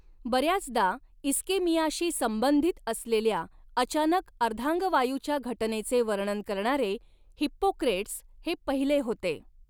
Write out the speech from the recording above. बऱ्याचदा इस्केमियाशी संबंधित असलेल्या अचानक अर्धांगवायूच्या घटनेचे वर्णन करणारे, हिप्पोक्रेट्स हे पहिले होते.